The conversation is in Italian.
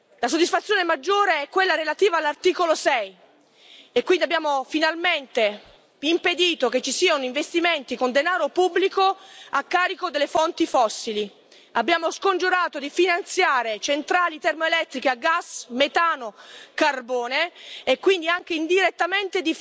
La soddisfazione maggiore è quella relativa all'articolo 6, poiché abbiamo finalmente impedito che ci siano investimenti con denaro pubblico nelle fonti fossili abbiamo scongiurato di finanziare centrali termoelettriche, a gas metano e carbone e, quindi, anche di finanziare indirettamente